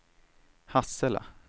Hassela